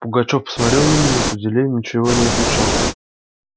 пугачёв посмотрел на меня с удивлением и ничего не отвечал